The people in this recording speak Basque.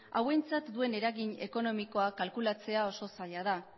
hauentzat duen eragin ekonomikoa kalkulatzea oso zaila da